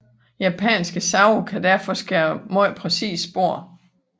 Japanske save kan derfor skære meget præcise spor